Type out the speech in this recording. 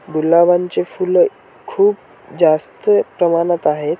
गुलाबांची फुलं खूप जास्त प्रमाणात आहेत.